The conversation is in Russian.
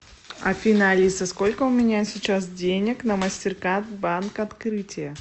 афина алиса сколько у меня сейчас денег на мастеркард банк открытие